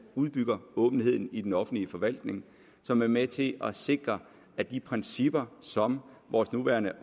udbygger åbenheden i den offentlige forvaltning som er med til at sikre at de principper som vores nuværende